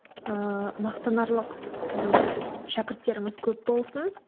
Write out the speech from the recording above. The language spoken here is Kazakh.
ыыы мақтанарлық сіздің шәкірттеріңіз көп болсын